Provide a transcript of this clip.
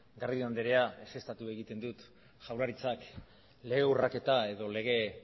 garrido andrea ezeztatu egiten dut jaurlaritzak lege urraketa edo lege